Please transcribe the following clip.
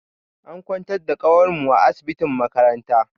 An kwantar da kawar mu a asibitin makaranta.